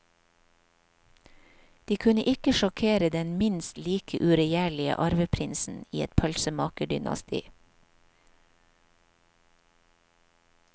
De kunne ikke sjokkere den minst like uregjerlige arveprinsen i et pølsemakerdynasti.